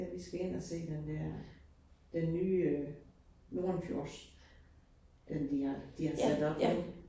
Vi skal ind og se den der den nye Nordenfjords, den de har de har sat op nu